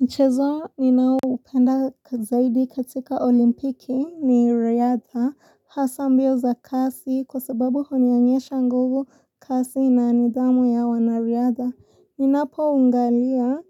Mchezo ninaoupenda zaidi katika olimpiki ni riada hasa mbio za kasi kwa sababu hunionyesha nguvu, kasi na nidhamu ya wanariada. Ninapoangalia